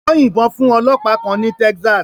Wọ́n yìnbọn fún ọlọ́pàá kan ní Texas.